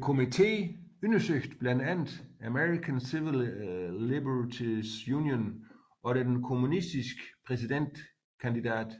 Komitéen undersøgte blandt andet American Civil Liberties Union og den kommunistiske præsidentkandidat